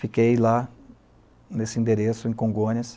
Fiquei lá, nesse endereço, em Congonhas.